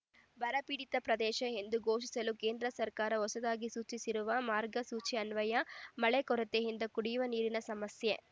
ಬರಪೀಡಿತ ಪ್ರದೇಶ ಎಂದು ಘೋಷಿಸಲು ಕೇಂದ್ರ ಸರ್ಕಾರ ಹೊಸದಾಗಿ ಸೂಚಿಸಿರುವ ಮಾರ್ಗಸೂಚಿಯನ್ವಯ ಮಳೆ ಕೊರತೆಯಿಂದ ಕುಡಿಯುವ ನೀರಿನ ಸಮಸ್ಯೆ